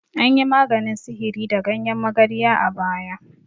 Anyi maganin sihiri da ganyen magarya a baya.